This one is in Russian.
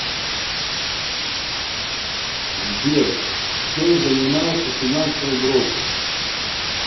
сбер чем занимается финансовый брокер